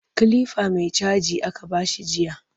Kilifa mai caji aka ba shi jiya